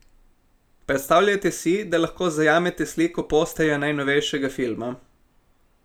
Predstavljajte si, da lahko zajamete sliko posterja najnovejšega filma.